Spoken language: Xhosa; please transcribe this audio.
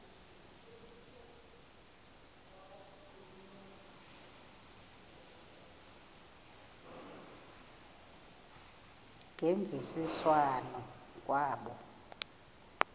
ngemvisiswano r kwabo